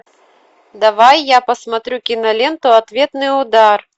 давай я посмотрю киноленту ответный удар